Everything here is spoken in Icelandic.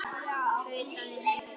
tautaði Svenni.